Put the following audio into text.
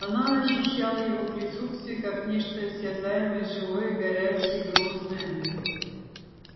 она ощущала его присутствие как нечто осязаемо живое горячее грозное